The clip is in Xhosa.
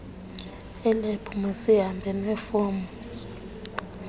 elebhu mazihambe nefomu